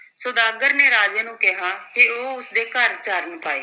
ਸੁਦਾਗਰ ਨੇ ਰਾਜੇ ਨੂੰ ਕਿਹਾ ਕਿ ਉਹ ਉਸ ਦੇ ਘਰ ਚਰਨ ਪਾਏ।